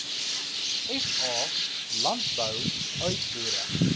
sa landbou uitvoere